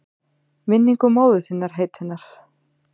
Minningu móður þinnar heitinnar?